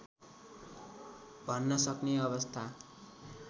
भन्न सक्ने अवस्था